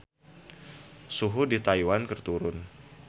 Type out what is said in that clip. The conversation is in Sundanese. Suhu di Taiwan keur turun